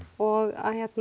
og